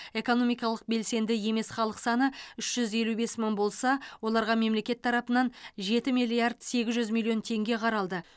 экономикалық белсенді емес халық саны үш жүз елу бес мың болса оларға мемлекет тарапынан жеті миллиард сегіз жүз миллион теңге қаралды